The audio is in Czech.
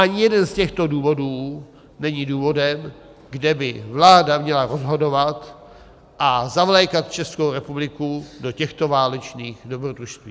Ani jeden z těchto důvodů není důvodem, kde by vláda měla rozhodovat a zavlékat Českou republiku do těchto válečných dobrodružství.